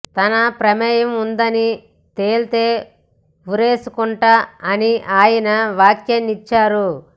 తన ప్రమేయం ఉందని తేలితే ఉరేసుకుంటా అని ఆయన వ్యాఖ్యానించారు